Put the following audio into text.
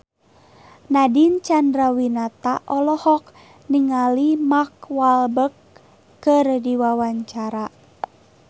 Nadine Chandrawinata olohok ningali Mark Walberg keur diwawancara